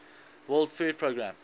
world food programme